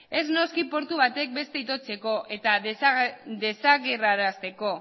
ez noski portu batek bestea itotzeko eta desagerrarazteko